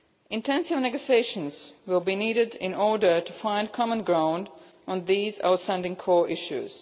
Intensive negotiations will be needed in order to find common ground on these outstanding core issues.